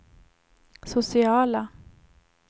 sociala